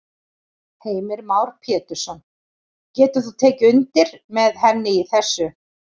Heimir Már Pétursson: Getur þú tekið undir með henni í þessu?